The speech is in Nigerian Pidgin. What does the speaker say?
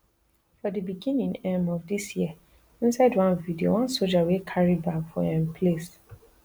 for di beginning um of dis year inside one video one soja wey carry bag for um place